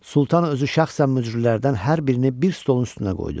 Sultan özü şəxsən mücrülərdən hər birini bir stolun üstünə qoydu.